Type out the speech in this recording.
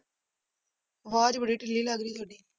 ਆਵਾਜ਼ ਬੜੀ ਢਿੱਲੀ ਲੱਗ ਰਹੀ ਤੁਹਾਡੀ।